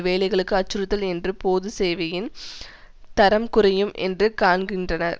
வேலைகளுக்கு அச்சுறுத்தல் என்று பொது சேவையின் தரம் குறையும் என்றும் காண்கின்றனர்